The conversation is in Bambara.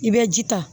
I bɛ ji ta